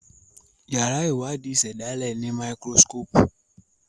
yàrá Iwadi ìsèdálè ní Máíkírósíkópù